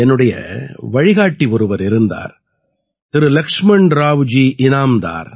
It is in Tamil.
என்னுடைய வழிகாட்டி ஒருவர் இருந்தார் திரு லக்ஷ்மண்ராவ் ஜி ஈனாம்தார்